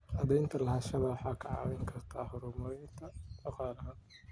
Cadaynta lahaanshaha waxay kaa caawin kartaa horumarinta dhaqaalaha.